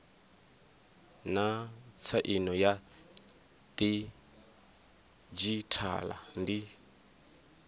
naa tsaino ya didzhithala ndi